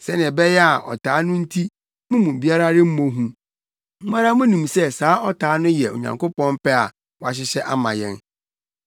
sɛnea ɛbɛyɛ a ɔtaa no nti mo mu biara remmɔ hu. Mo ara munim sɛ saa ɔtaa no yɛ Onyankopɔn pɛ a wahyehyɛ ama yɛn.